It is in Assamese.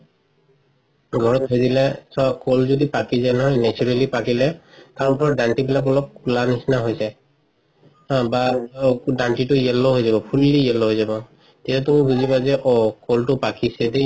ঘৰত থই দিলে চোৱা কল যদি পকি যাই নহয় naturally পকিলে তাৰ ওপৰৰ দান্তি বিলাক অলপ খুলাৰ নিচিনা হয় যাই বা দান্তিটো yellow হয় যাব fully yellow হয় যাব তেওঁটো কলটো পকিছে